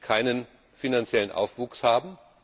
keinen finanziellen Zuwachs haben.